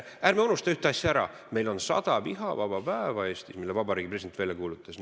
Ärme unustame ära ühte asja: meil on Eestis sada vihavaba päeva, mille Vabariigi President on välja kuulutanud.